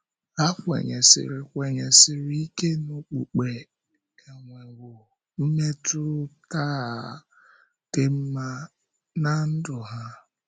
Ha kwenyèsịrị kwenyèsịrị ike na okpukpe enwewò mmetụ́tà dị mma n’á ndụ ha.